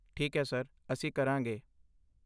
ਠੀਕ ਹੈ ਸਰ, ਅਸੀਂ ਕਰਾਂਗੇ ।